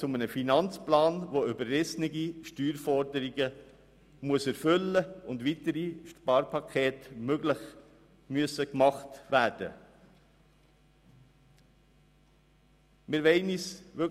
Zu einem Finanzplan, der überrissene Steuerforderungen erfüllen muss und möglicherweise weitere Sparpakete zur Folge hat, können wir nicht Ja sagen.